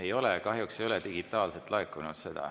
Ei ole, kahjuks ei ole digitaalselt laekunud.